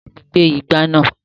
Bá mi gbé igbá náà.